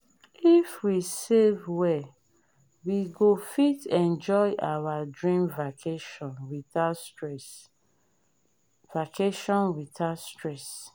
if we save well we go fit enjoy our dream vacation without stress. vacation without stress.